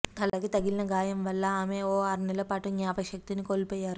తలకు తగిలిన గాయం వల్ల ఆమె ఓ ఆర్నెల్ల పాటు జ్ఞాపకశక్తిని కోల్పోయారు